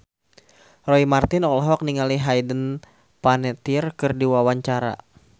Roy Marten olohok ningali Hayden Panettiere keur diwawancara